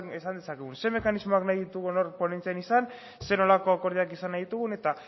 esan dezagun ze mekanismoak nahi ditugun hor ponentzian izan ze nolako akordioak izan nahi ditugun eta